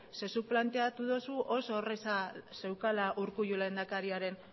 zeren zuk planteatu duzu oso erreza zeukala urkullu lehendakariaren